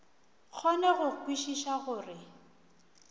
kgone go kwešiša go re